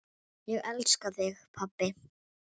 Ég elska þig, pabbi.